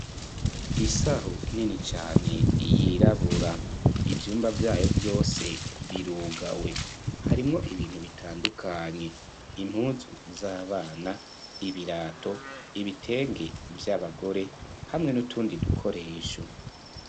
isahu nini cyane yirabura ibyumba byayo byose birugawe harimwo ibintu bitandukanye impuzu z'abana ibirato ibitenge by'abagore hamwe n'utundi dukoresho